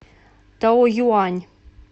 таоюань